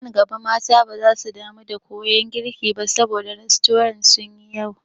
Nan gaba mata baza su damu da koyan girki ba saboda rastorant sun yi yawa.